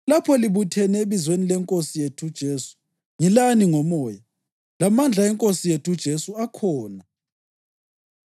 Lapho libuthene ebizweni leNkosi yethu uJesu ngilani ngomoya, lamandla eNkosi yethu uJesu akhona,